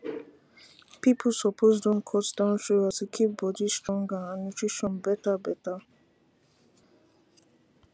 people suppose don cut down sugar to keep body stronger and nutrition better better